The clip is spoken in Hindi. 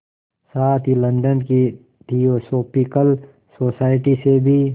साथ ही लंदन की थियोसॉफिकल सोसाइटी से भी